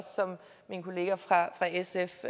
som min kollega fra sf